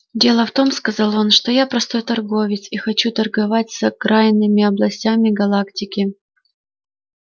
дело в том сказал он что я простой торговец и хочу торговать с окраинными областями галактики